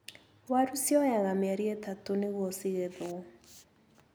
Waru cioyaga mĩeri itatũ nĩguo cĩgethwo.